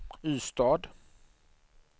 Ystad